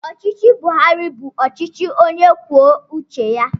Ọchịchị Buharị bụ ọchịchị onye kwuo uche ya.